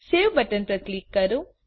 save button પર click કરો